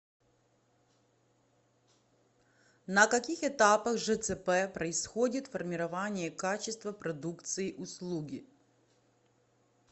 на каких этапах жцп происходит формирование качества продукции услуги